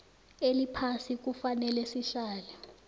eliphasi kufanele sihlale